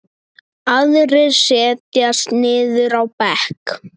Aðrir setjast niður á bekk.